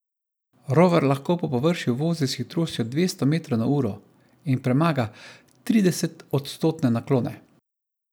Rover lahko po površju vozi s hitrostjo dvesto metrov na uro in premaga tridesetodstotne naklone.